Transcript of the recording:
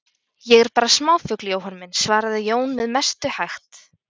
Ég er bara smáfugl, Jóhann minn, svaraði Jón með mestu hægt.